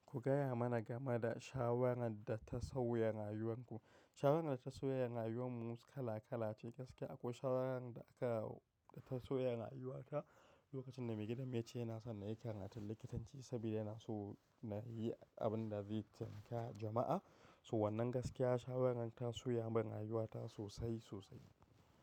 Ku gaya mana game da shawarar da ta sauya rayuwanku. Shawarar data sauya rayuwar mu kalakala ce gaskiya akwai shawarar da aka da ta sauya rayuwata lokacin da mai gidan mu ya ce yana son na yi karatun likitanci saboda yana so na yi abin da zai taimaka jama'a. So wannan gaskiya shawarar ta sauya min rayuwata sosai sosai.